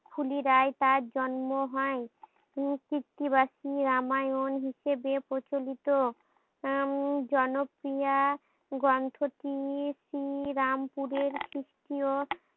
ফুলিরায় তার জন্ম হয় উম কৃত্তিবাসী রামায়ণ হিসেবে প্রচলিত উম জনপ্রিয়া গন্ত্ৰটি শ্রী রামপুরের তৃতীয়